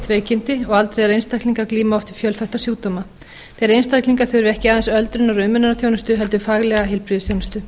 veikindi og aldraðir einstaklingar glíma oft við fjölþætta sjúkdóma þeir einstaklingar þurfa ekki aðeins öldrunar og umönnunarþjónustu heldur faglega heilbrigðisþjónustu